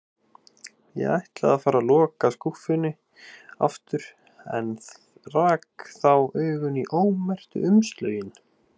Ég ætlaði að fara að loka skúffunni aftur en rak þá augun í ómerktu umslögin.